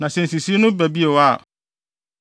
“Na sɛ nsisii no ba bio a,